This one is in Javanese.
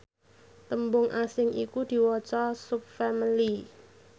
tembung asing iku diwaca subfamili